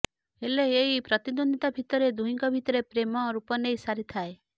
ହେଲେ ଏଇ ପ୍ରତିଦ୍ୱନ୍ଦ୍ୱିତା ଭିତରେ ଦୁହିଁଙ୍କ ଭିତରେ ପ୍ରେମ ରୂପ ନେଇ ସାରିଥାଏ